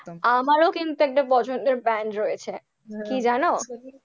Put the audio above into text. আমারও কিন্তু একটা পছন্দের band রয়েছে, কি জানো?